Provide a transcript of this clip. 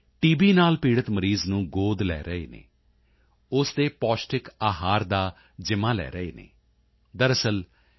ਨਾਲ ਪੀੜਿਤ ਮਰੀਜ਼ ਨੂੰ ਗੋਦ ਲੈ ਰਹੇ ਹਨ ਉਸੇ ਦੇ ਪੌਸ਼ਟਿਕ ਆਹਾਰ ਦਾ ਜ਼ਿੰਮਾ ਲੈ ਰਹੇ ਹਨ ਦਰਅਸਲ ਇਹ ਟੀ